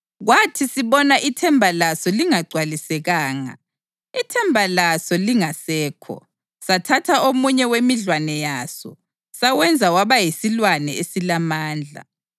Kwathi sibona ithemba laso lingagcwalisekanga, ithemba laso lingasekho, sathatha omunye wemidlwane yaso sawenza waba yisilwane esilamandla.